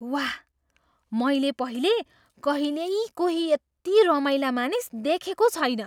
वाह! मैले पहिले कहिल्यै कोही यति रमाइला मानिस देखेको छैन!